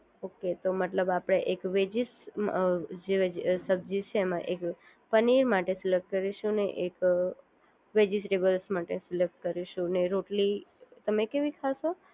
okay તો મતલબ કે આપણે એક વેજીસ જે સબ્જી છે એમાં એક પનીર માટે માથી સિલેક્ટ કરીશું અને એક વેજીટેબલ્સ માંથી સિલેક્ટ કરીશ ને રોટલી તમે કેવી ખાશો